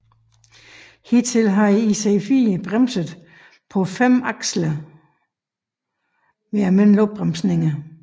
Hidtil havde IC4 bremset på fem aksler ved almindelige opbremsninger